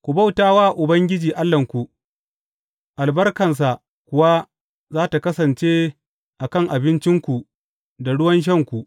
Ku bauta wa Ubangiji Allahnku, albarkansa kuwa za tă kasance a kan abincinku da ruwan shanku.